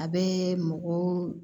A bɛ mɔgɔ